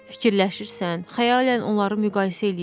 Fikirləşirsən, xəyalən onları müqayisə eləyirsən.